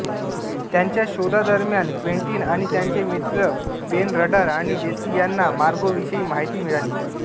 त्याच्या शोधादरम्यान क्वेंटीन आणि त्याचे मित्र बेन रडार आणि लेसी यांना मार्गोविषयी माहिती मिळाली